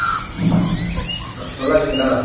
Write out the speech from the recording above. ந நல்லா இருக்கீங்களா